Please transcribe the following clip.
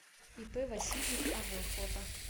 ип васильев ав фото